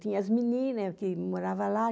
Tinha as menina que morava lá.